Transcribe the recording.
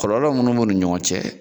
Kɔlɔlɔ munnu b'o ni ɲɔgɔn cɛ